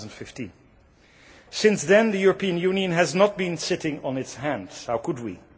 2015. Since then the European Union has not been sitting on its hands, how could we?